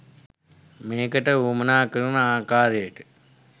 මේකට වුවමනා කරන ආකාරයට